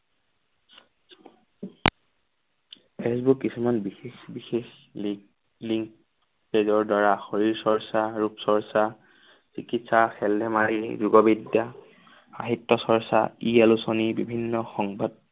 Facebook কিছুমান বিশেষ বিশেষ লিক লিংক পেজৰ দ্বাৰা শৰীৰ চৰ্চ্চা, ৰূপ চৰ্চ্চা, চিকিৎসা, খেল-ধেমালি, লোকবিদ্যা, সাহিত্য চৰ্চ্চা, ই আলোচনী বিভিন্ন সংবাদ